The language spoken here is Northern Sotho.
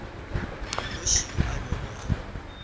nnoši yo a bego a